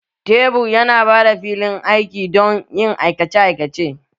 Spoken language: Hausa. Tebur yana ba da filin aiki don yin aikace aikace